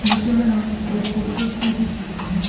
नीचे में हमें दो पोस्टर्स भी दिख सकते हैं।